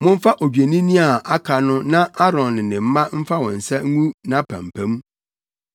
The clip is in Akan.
“Momfa odwennini a aka no na Aaron ne ne mmabarima mfa wɔn nsa ngu nʼapampam,